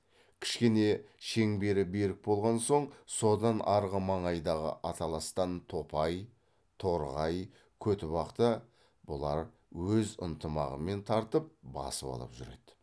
кішкене шеңбері берік болған соң содан арғы маңайдағы аталастан топай торғай көтібақта бұлар өз ынтымағымен тартып басып алып жүреді